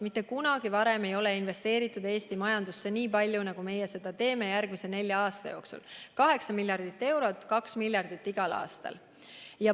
Mitte kunagi varem ei ole investeeritud Eesti majandusse nii palju, nagu meie seda teeme järgmise nelja aasta jooksul: kokku 8 miljardit eurot, 2 miljardit igal aastal.